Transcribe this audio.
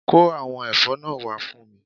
Kó àwọn èfó náà wá fún mi